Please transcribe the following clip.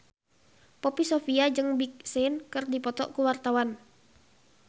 Poppy Sovia jeung Big Sean keur dipoto ku wartawan